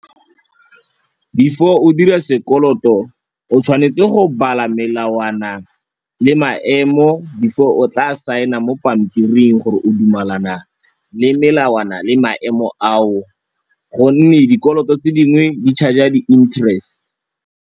Before o dira sekoloto o tshwanetse go bala melawana le maemo before o tla saena mo pampiring gore o dumalana le melawana le maemo ao, gonne dikoloto tse dingwe di-charge-a di-interest.